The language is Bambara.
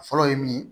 Fɔlɔ ye min ye